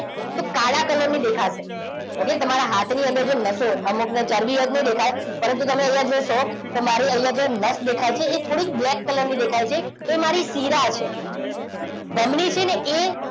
તો કાળા કલરની દેખાશે. okay તમારા હાથની અંદર જે નસો છે અમુકની ચરબી હોય એટલે ના દેખાય. પરંતુ તમે અહીંયા જોશો તમારી અહીંયા જે નસ દેખાઈ છે એ થોડીક Black color ની દેખાય છે. એ મારી શિરા છે. ધમની છે ને એ,